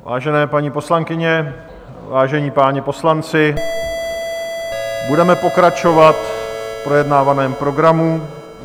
Vážené paní poslankyně, vážení páni poslanci, budeme pokračovat v projednávaném programu.